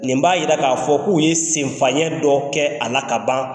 Nin b'a yira k'a fɔ k'u ye sen fayɛn dɔ kɛ, a la ka ban .